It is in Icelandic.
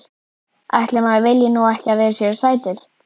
Ætli maður vilji nú ekki að þeir séu sætir.